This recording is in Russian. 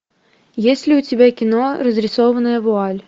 есть ли у тебя кино разрисованная вуаль